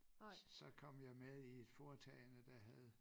Så kom jeg med i et foretagende der havde